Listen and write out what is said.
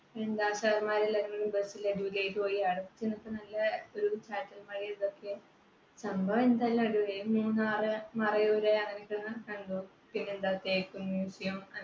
ചാറ്റൽ മഴയും ഇതൊക്കെ സംഭവം എന്തായാലും അടിപൊളിയായി. മൂന്നാർ മറയൂർ കണ്ടു പിന്നെ എന്താ തേക്ക് museum